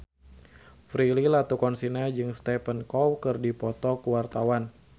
Prilly Latuconsina jeung Stephen Chow keur dipoto ku wartawan